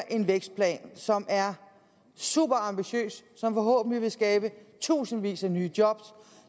en vækstplan som er superambitiøs som forhåbentlig vil skabe tusindvis af nye job